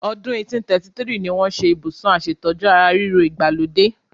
Ọdún 1833 ni wọ́n ṣe Ibùsùn aṣètójú ara ríro ìgbàlódé.